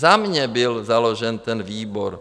Za mě byl založen ten výbor.